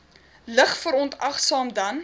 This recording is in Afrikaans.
lig verontagsaam dan